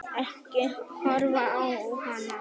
Ekki horfa á hana!